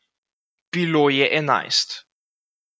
Bilo je enajst.